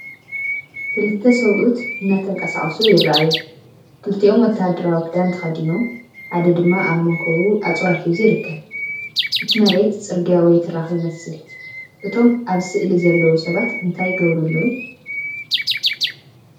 ክልተ ሰብኡት እናተንቀሳቐሱ ይረኣዩ። ክልቲኦም ወተሃደራዊ ክዳን ተኸዲኖም፡ ሓደ ድማ ኣብ መንኵቡ ኣጽዋር ሒዙ ይርከብ። እቲ መሬት ጽርግያ ወይ ትራክ ይመስል። እቶም ኣብ ስእሊ ዘለዉ ሰባት እንታይ ይገብሩ ኣለዉ?